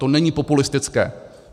To není populistické.